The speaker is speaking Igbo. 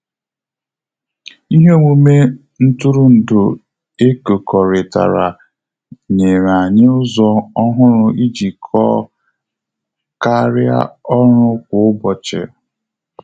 Ihe omume ntụrụndu ekokoritara nyere anyị ụzọ ọhụrụ ijikọọ karịa ọrụ kwa ụbọchị